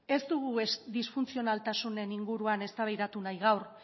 ez dugu disfuntzionaltasunen inguruan eztabaidatu nahi gaur